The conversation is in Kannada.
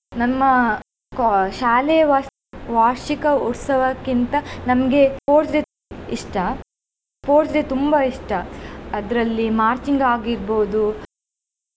ನಮ್ಮ ಕೊ~ ಶಾಲೆಯ ವಾ~ ವಾರ್ಷಿಕ ಉತ್ಸವಕಿಂತ ನಮಗೆ sports day ಇಷ್ಟ sports day ತುಂಬಾ ಇಷ್ಟ ಅದರಲ್ಲಿ marching ಆಗಿರ್ಬೋದು.